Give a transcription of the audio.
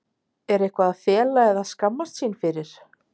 Er eitthvað að fela eða skammast sín fyrir?